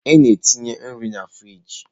Etinyere m nri n'ime frịjị.